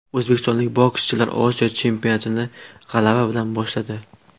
O‘zbekistonlik bokschilar Osiyo chempionatini g‘alaba bilan boshladi.